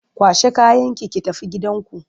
Kwashe kayanki ki tafi gidanku!